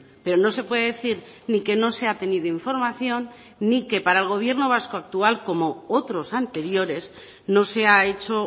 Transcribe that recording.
pero no se puede decir ni que no se ha tenido información ni que para el gobierno vasco actual como otros anteriores no se ha hecho